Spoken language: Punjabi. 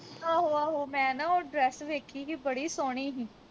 ਆਹੋ ਆਹੋ ਮੈਂ ਨਾ ਉਹ dress ਵੇਖੀ ਹੀ ਬੜੀ ਸੋਹਣੀ ਹੀ